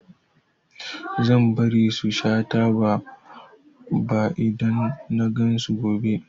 Bazan bari su sha taba ba idan nagan su gobe